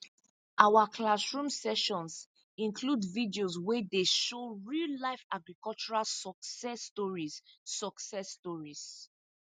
our classroom sessions include videos wey dey show real life agricultural success stories success stories